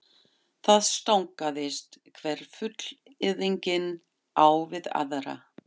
Það stangaðist hver fullyrðingin á við aðra.